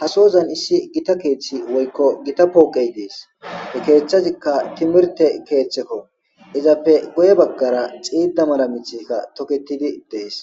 hasozan issi gita keeththi woykko gita pooqey dees he keeththazikka timirte keeththekko izappe goye baggara xiida mala mithika toketidi dees